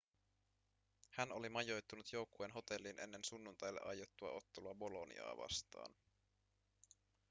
hän oli majoittunut joukkueen hotelliin ennen sunnuntaille aiottua ottelua boloniaa vastaan